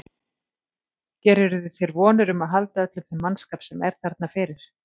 Gerirðu þér vonir um að halda öllum þeim mannskap sem er þarna fyrir?